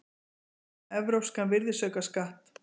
Tillögur um evrópskan virðisaukaskatt